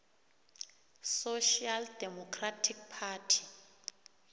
social democratic party